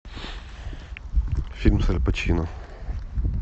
фильм с аль пачино